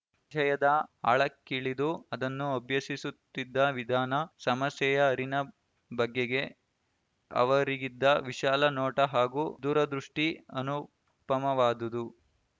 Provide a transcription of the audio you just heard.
ವಿಷಯದ ಆಳಕ್ಕಿಳಿದು ಅದನ್ನು ಅಭ್ಯಸಿಸುತ್ತಿದ್ದ ವಿಧಾನ ಸಮಸ್ಯೆಯ ಅರಿನ ಬಗೆಗೆ ಅವರಿಗಿದ್ದ ವಿಶಾಲ ನೋಟ ಹಾಗೂ ದೂರದೃಷ್ಟಿಅನುಪಮವಾದುದು